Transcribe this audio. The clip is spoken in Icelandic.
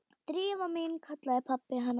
Drífa mín- kallaði pabbi hennar.